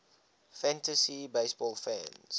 fantasy baseball fans